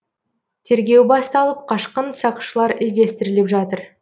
тергеу басталып қашқын сақшылар іздестіріліп жатыр